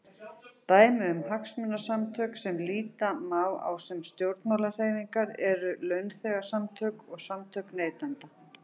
Dæmi um hagsmunasamtök sem líta má á sem stjórnmálahreyfingar eru launþegasamtök og samtök neytenda.